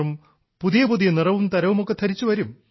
പുതിയ പുതിയ നിറവും തരവുമൊക്കെ ധരിച്ച് വരും